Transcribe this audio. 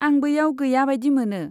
आं बैयाव गैया बायदि मोनो।